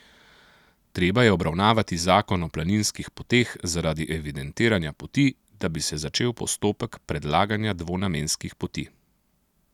Treba je obravnavati zakon o planinskih poteh zaradi evidentiranja poti, da bi se začel postopek predlaganja dvonamenskih poti.